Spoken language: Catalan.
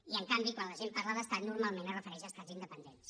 i en canvi quan la gent parla d’ estat normalment es refereix a estats independents